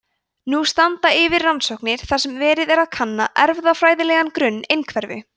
nú standa yfir rannsóknir þar sem verið er að kanna erfðafræðilegan grunn einhverfu